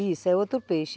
Isso, é outro peixe.